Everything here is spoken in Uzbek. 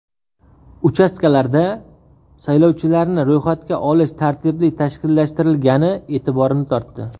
Uchastkalarda saylovchilarni ro‘yxatga olish tartibli tashkillashtirilgani e’tiborimni tortdi.